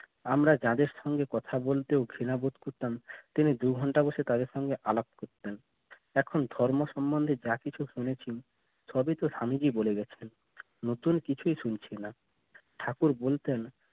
আমরা যাদের সাথে কথা বলতে ঘৃণা বোধ করতাম কিন্তু দু'ঘণ্টা বসে তাদের সাথে আলাপ করতেন এখন ধর্ম সম্বন্ধে যা কিছু শুনেছি সবই তো স্বামীজি বলে গেছেন নতুন কিছুই শুনছি না ঠাকুর বলতে